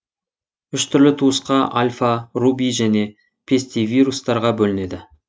үш түрлі туысқа альфа руби және пестивирустарға бөлінеді